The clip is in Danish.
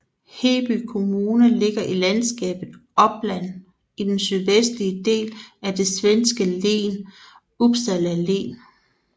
Heby kommune ligger i landskapet Uppland i den sydvestlige del af det svenske län Uppsala län